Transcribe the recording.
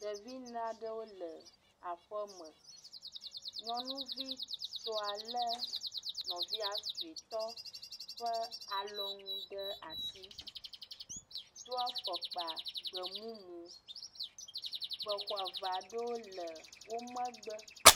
Ɖevi ne aɖewo le aƒe me. Nyɔnuvitɔ lé nɔviz sɔetɔ ƒe alɔnu ɖe asi, do afɔkpa gbemumu, avea ɖewo le wo megbe.